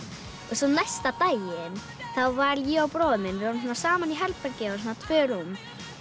svo næsta daginn þá var ég og bróðir minn við vorum saman í herbergi og svona tvö rúm